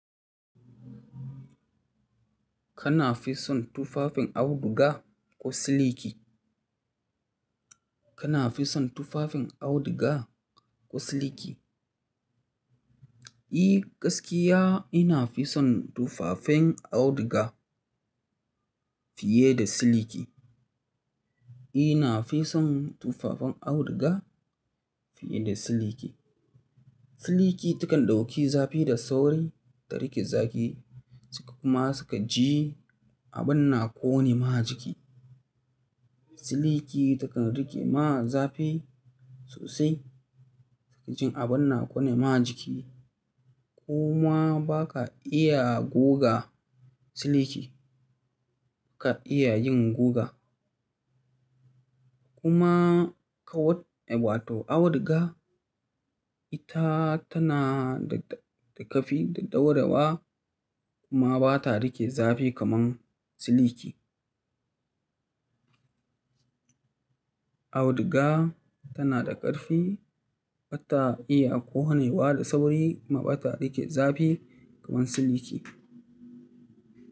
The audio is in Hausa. Kana fi son tufafin auduga ko siliki? Kana fi son tufafin auduga ko siliki? Eh gaskiya ina fi don tufafen auduga fiye da siliki. Ina fi son tufafin auduga fiye da siliki. Siliki takan daukan zafi da sauri da rike zafi kuma nakan ji abin na kone ma jiki. Siliki takan rike ma zafi sosai sai ka ji abin nakone ma jiki. Kuma ba ka iya gogga siliki, ka iya yin gugga kuma wato auduga ita tafi daurewa kuma bata rike zafi kamar siliki. Auduga tana da karfi, bata iya konewa da sauri kuma bata riƙe zafi kaman siliki.